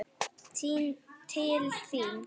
Til þín?